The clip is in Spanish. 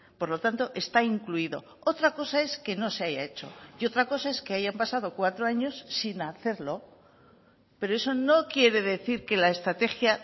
por lo tanto está incluido otra cosa es que no se haya hecho y otra cosa es que hayan pasado cuatro años sin hacerlo pero eso no quiere decir que la estrategia